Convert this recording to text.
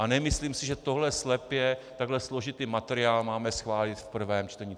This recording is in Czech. A nemyslím si, že tohle slepě, takhle složitý materiál, máme schválit v prvém čtení.